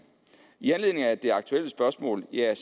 i anledning af det aktuelle spørgsmål vil jeg